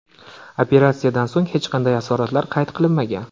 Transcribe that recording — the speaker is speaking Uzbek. Operatsiyadan so‘ng hech qanday asoratlar qayd qilinmagan.